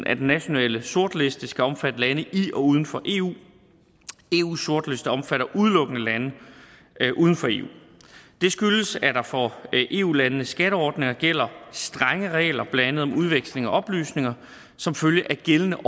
at den nationale sortliste skal omfatte lande i og uden for eu eus sortliste omfatter udelukkende lande uden for eu det skyldes at der for eu landenes skatteordninger gælder strenge regler blandt andet om udveksling af oplysninger som følge af gældende og